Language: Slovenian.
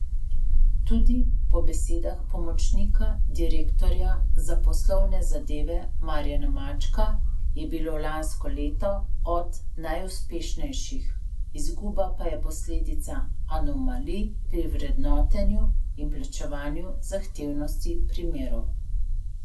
Tudi po besedah pomočnika direktorja za poslovne zadeve Marjana Mačka je bilo lansko leto eno od najuspešnejših, izguba pa je posledica anomalij pri vrednotenju in plačevanju zahtevnosti primerov.